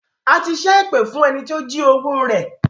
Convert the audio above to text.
A ti ṣẹ èpè fún ẹni tí ó jí owó rẹ